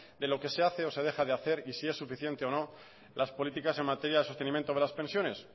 de lo que se hace o se deja de hacer y si es suficiente o no las políticas en materia de sostenimiento de las pensiones